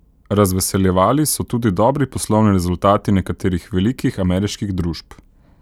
Razveseljevali so tudi dobri poslovni rezultati nekaterih velikih ameriških družb.